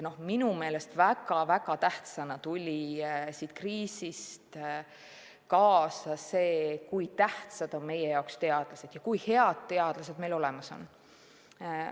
Minu meelest väga tähtsana tuli siit kriisist kaasa, kui tähtsad on meie jaoks teadlased ja kui head teadlased meil olemas on.